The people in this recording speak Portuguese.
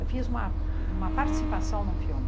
Eu fiz uma uma participação num filme.